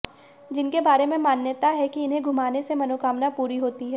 जिनके बारे में मान्यता है कि इन्हें घुमाने से मनोकामना पूरी होती है